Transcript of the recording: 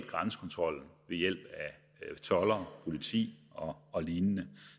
grænsekontrollen ved hjælp af toldere politi og og lignende